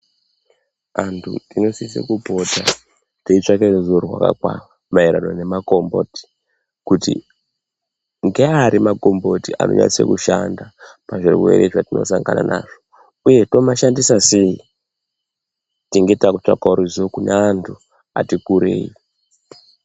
Antu tinosise kupota teitsvake ruzivo rwakakwana maererano nemakomboti kuti ngeari makomboti anonyatse kushanda pazvirwere zvatinosangana nazvo uye tomashandisa sei. Tenge takutsvakawo ruzivo kune antu ati kurei.